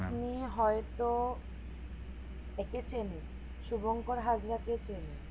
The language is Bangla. আপনি হয়তো একে চেনেন শুভংকর হাজরা কে চেনেন